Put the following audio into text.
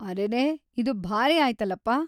ಅರೆರೇ...‌ ಇದು ಭಾರಿ ಆಯ್ತಲಪ!